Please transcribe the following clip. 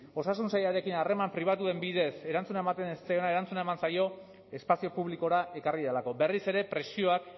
osasun sailarekin harreman pribatuen bidez erantzuna ematen ez zitzaiona erantzuna eman zaio espazio publikora ekarri delako berriz ere presioak